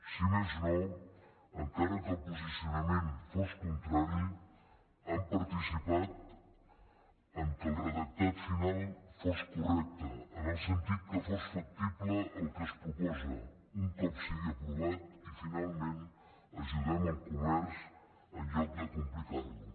si més no encara que el posicionament fos contrari han participat perquè el redactat final fos correcte en el sentit que fos factible el que es proposa un cop sigui aprovat i finalment ajudem el comerç en lloc de complicar lo